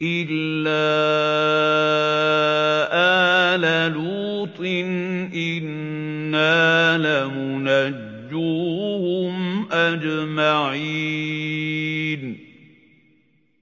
إِلَّا آلَ لُوطٍ إِنَّا لَمُنَجُّوهُمْ أَجْمَعِينَ